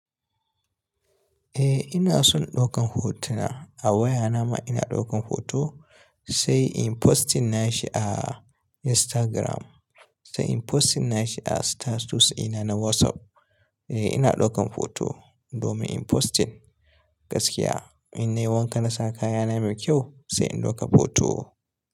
Eh ina son ɗaukan hotuna. A wayana ma ina ɗaukan hoto sai in posting nashi a Instagram, sai in posting nashi a status dina na WhatsApp. Eh ina ɗaukan hoto domin in postin gaskiya. In nayi wankana nasa kayana mai ƙyau sai in ɗauka hoto.